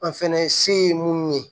An fɛnɛ se ye munnu ye